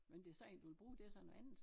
Men det så en du kan bruge det så noget andet